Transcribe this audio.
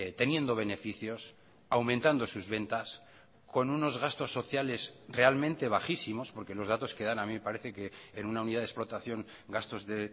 teniendo beneficios aumentando sus ventas con unos gastos sociales realmente bajísimos porque los datos que dan a mí me parece que en una unidad de explotación gastos de